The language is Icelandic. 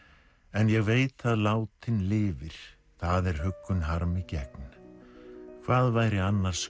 en ég veit að látinn lifir það er huggun harmi gegn hvað væri annars